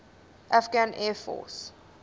afghan air force